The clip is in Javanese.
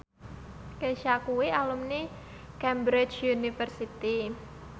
Kesha kuwi alumni Cambridge University